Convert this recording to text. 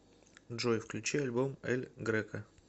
джой включи альбом эль греко